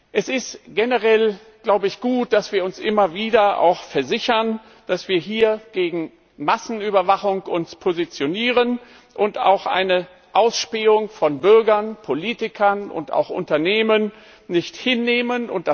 Es ist generell gut, dass wir uns immer wieder auch versichern, dass wir uns hier gegen Massenüberwachung positionieren und auch eine Ausspähung von Bürgern, Politikern und auch Unternehmen nicht hinnehmen.